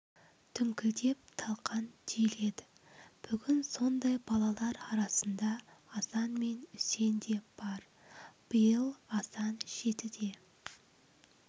дүңкілдеп талқан түйіледі бүгін сондай балалар арасында асан мен үсен де бар биыл асан жетіде